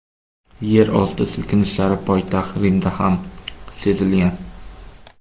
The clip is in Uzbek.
Yerosti silkinishlari poytaxt Rimda ham sezilgan.